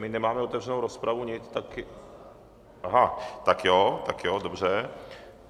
My nemáme otevřenou rozpravu, nic, tak... aha, tak jo, tak jo, dobře.